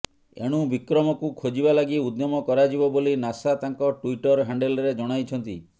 ଏଣୁ ବିକ୍ରମକୁ ଖୋଜିବା ଲାଗି ଉଦ୍ୟମ କରାଯିବ ବୋଲି ନାସା ତାଙ୍କ ଟ୍ୱିଟର ହ୍ୟାଣ୍ଡେଲରେ ଜଣାଇଛନ୍ତି